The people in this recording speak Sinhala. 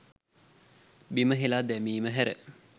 බිම හෙලා දැමීම හැර